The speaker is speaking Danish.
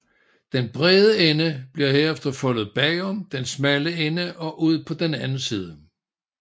Den brede ende bliver herefter foldet bagom den smalle ende og ud på den anden side